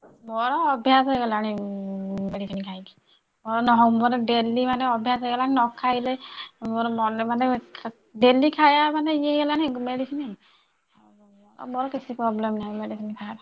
ମୋର ଅଭ୍ଯାସ ହେଇଗଲାଣି medicine ଖାଇକି ମୋର daily ମାନେ ଅଭ୍ୟାସ ହେଇଗଲାଣି ନ ଖାଇଲେ ମୋର ମନ ମାନେ daily ଖାଇଆ ମାନେ ଇଏ ହେଇଗଲାଣି medicine ମୋର କିଛି problem ନାହିଁ medicine ଖାଇଆକୁ।